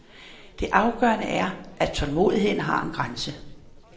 Det afgørende er, at tålmodigheden har en grænse.